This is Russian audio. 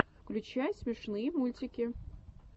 включай смешные мультики